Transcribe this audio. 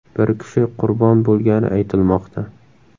Bir kishi qurbon bo‘lgani aytilmoqda.